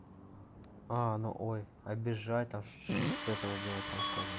а ну ой обижать там что-то типа этого было там сказано